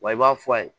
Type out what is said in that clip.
Wa i b'a fɔ a ye